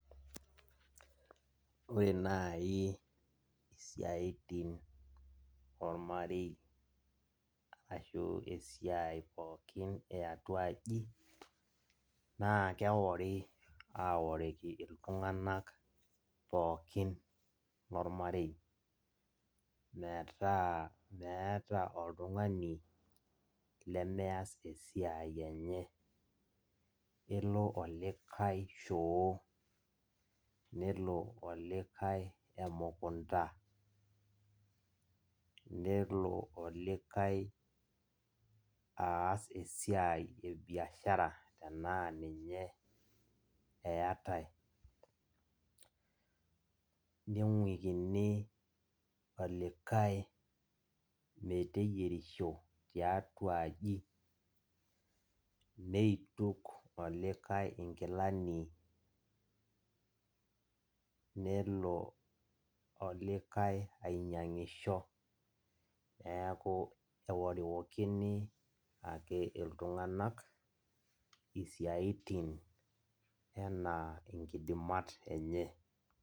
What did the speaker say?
Ore nai isiatin ormarei ashu esiai pookin eatuaji na keworibaworiki iltunganak pookin lormarei metaa meeta oltungani lemeas esiai enye, kelo olikae shoo, nelo olikae emukunda nelo olikae aas esiai ebiashara tanaa ninye eatae, ningukini olikae meteyierishilo tiatua aji, nituk olikae nkilani nelo olikae ainyangisho neaku keworiworikini ake ltunganak isiatin enaa nkidimat enye.